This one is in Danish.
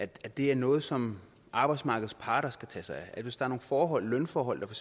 det er noget som arbejdsmarkedets parter skal tage sig af hvis der nogle forhold lønforhold der